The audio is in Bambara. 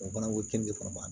O bana ko kɛn bɛ bana ba